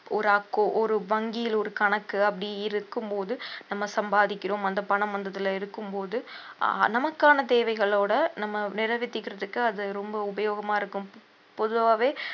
ஒரு accou~ ஒரு வங்கியில் ஒரு கணக்கு அப்படி இருக்கும்போது நம்ம சம்பாதிக்கிறோம் அந்த பணம் வந்ததுல இருக்கும்போது ஆஹ் நமக்கான தேவைகளோட நம்ம நிறைவேத்திக்கிறதுக்கு அது ரொம்ப உபயோகமா இருக்கும் பொ~ பொதுவாவே